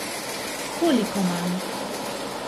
Koliko manj?